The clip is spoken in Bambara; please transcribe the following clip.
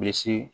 Misi